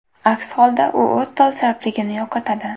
Aks holda u o‘z dolzarbligini yo‘qotadi.